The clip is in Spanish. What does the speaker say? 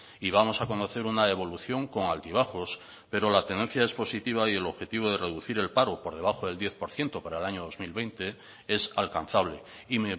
y vamos a conocer una evolución con altibajos pero la tendencia es positiva y el objetivo de reducir el paro por debajo del diez por ciento para el año dos mil veinte es alcanzable y